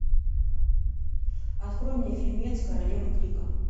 открой мне фильмец королевы крика